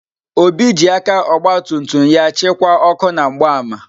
Obi ji aka ọgba tum tum ya chịkwaa ọkụ na mgbaama.